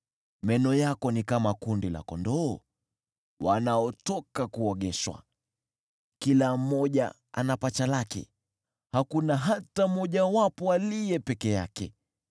Meno yako ni kama kundi la kondoo watokao kuogeshwa. Kila mmoja ana pacha lake, hakuna hata mmoja aliye peke yake.